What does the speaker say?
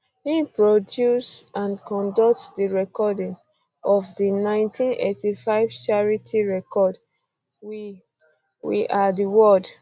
im produce and conduct di recording um of di 1985 charity record um we we are di world